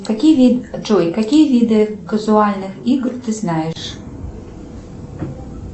какие виды джой какие виды казуальных игр ты знаешь